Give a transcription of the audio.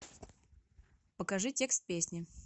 покажи текст песни